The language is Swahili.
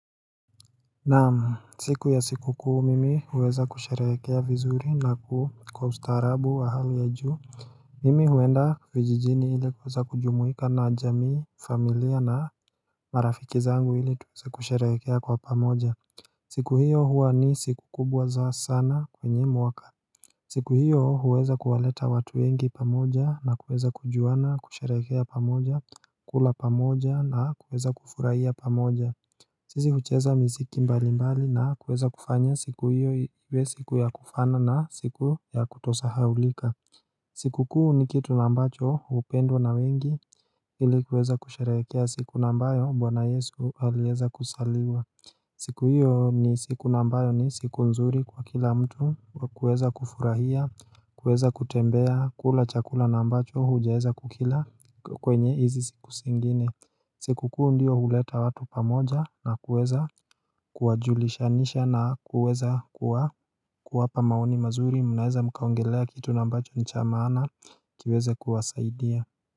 Naamu, siku ya siku kuu mimi uweza kusherekea vizuri na kuu kwa ustarabu wa hali ya juu Mimi huenda vijijini ili uweza kujumuika na jamii familia na marafiki zangu ili tukusherekea kwa pamoja siku hiyo huwa ni siku kubwa za sana kwenye mwaka siku hiyo uweza kuwaleta watu wengi pamoja na uweza kujuana kusherekea pamoja kula pamoja na uweza kufuraia pamoja Sisi hucheza mziki mbali mbali na kueza kufanya siku hiyo iwe siku ya kufana na siku ya kutosahaulika siku kuu ni kitu nambacho hupendwa na wengi ilikuweza kusharekea siku nambayo mbwana yesu alieza kusaliwa siku hiyo ni siku nambayo ni siku nzuri kwa kila mtu kueza kufurahia kueza kutembea kula chakula nambacho hujeza kukila kwenye hizi siku singine siku kuu ndiyo huleta watu pamoja na kuweza Kuwajulisha nisha na kuweza kuwa kuwapa maoni mazuri mnaeza mkaongelea kitu nambacho nichama ana Kiweze kuwasaidia.